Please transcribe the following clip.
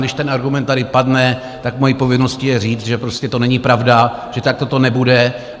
Když ten argument tady padne, tak mou povinností je říct, že prostě to není pravda, že takto to nebude.